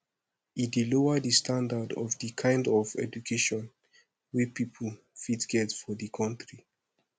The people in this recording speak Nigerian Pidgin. e dey lower di standand of di kind of education wey pipo fit get for di country